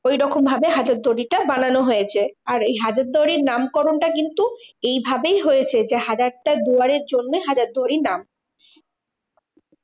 ঐরকম ভাবে হাজারদুয়ারিটা বানানো হয়েছে। আর এই হাজারদুয়ারীর নামকরণটা কিন্তু এইভাবেই হয়েছে যে হাজারটা দুয়ারের জন্যে হাজারদুয়ারি নাম।